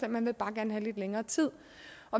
man vil bare gerne have lidt længere tid